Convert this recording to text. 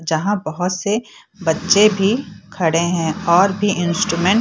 जहाँ बहोत से बच्चे भी खड़े हैं और भी इंस्ट्रूमेंट --